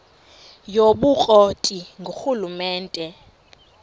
yobukro ti ngurhulumente